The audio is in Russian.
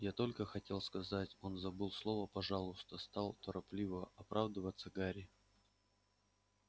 я только хотел сказать он забыл слово пожалуйста стал торопливо оправдываться гарри